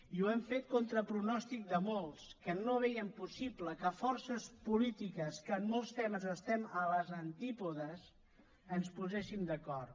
i ho hem fet contra pronòstic de molts que no veien possible que forces polítiques que en molts temes estem als antípodes ens poséssim d’acord